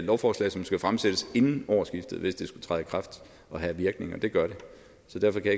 lovforslag som skal fremsættes inden årsskiftet hvis det skulle træde i kraft og have virkning og det gør det så derfor kan